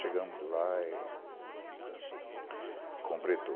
Chegamos lá e completou.